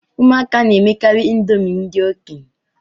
Ụmụaka na-emekarị iṅomi ndị okenye